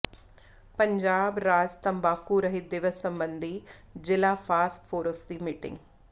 ਪੰਜਾਬ ਰਾਜ ਤੰਬਾਕੂ ਰਹਿਤ ਦਿਵਸ ਸਬੰਧੀ ਜਿਲਾ ਫਾਸਕ ਫੋਰਸ ਦੀ ਮੀਟਿੰਗ